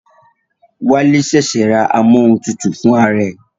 Wálé ṣẹ̀ṣẹ̀ ra amóhuntutù fún ara ẹ̀